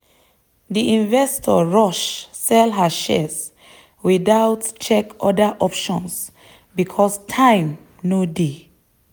the investor rush sell her shares without check other options because time no dey.